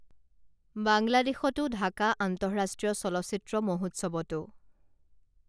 বাংলাদেশতো ঢাকা আন্তঃৰাষ্ট্ৰীয় চলচ্চিত্ৰ মহোৎসৱতো